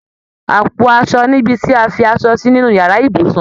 Àpò aṣọ nibi ti a fi aṣọ si nínú yàrá ibùsùn